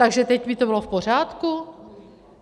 Takže teď by to bylo v pořádku?